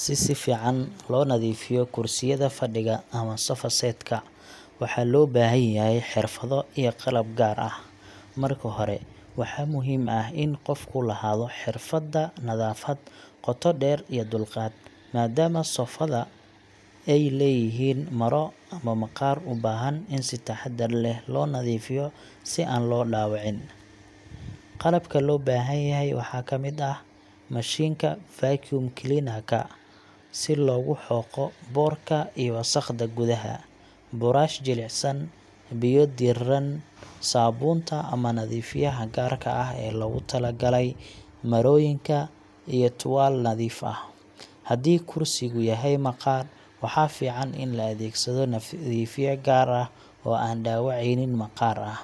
Si si fiican loo nadiifiyo kursiyada fadhiga ama sofa-set ka, waxaa loo baahan yahay xirfado iyo qalab gaar ah. Marka hore, waxaa muhiim ah in qofku lahaado xirfadda nadaafad qoto dheer iyo dulqaad, maadaama sofa da ay leeyihiin maro ama maqaar u baahan in si taxaddar leh loo nadiifiyo si aan loo dhaawicin. Qalabka loo baahan yahay waxaa ka mid ah: mashiinka vacuum cleaner ka si loogu xoqo boodhka iyo wasakhda gudaha ah, buraash jilicsan, biyo diirran, saabuunta ama nadiifiyaha gaarka ah ee loogu tala galay marooyinka, iyo tuwaal nadiif ah. Haddii kursigu yahay maqaar, waxaa fiican in la adeegsado nadiifiye gaar ah oo aan dhaawacaynin maqaar ah.